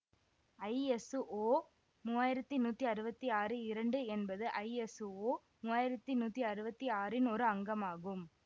ஐ S O மூவாயிரத்தி நூத்தி அறுவத்தி ஆறு இரண்டு என்பது ஐஎசுஓ மூவாயிரத்தி நூத்தி அறுவத்தி ஆறின் ஓர் அங்கமாகும்